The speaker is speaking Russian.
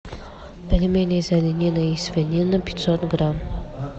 пельмени из оленины и свинины пятьсот грамм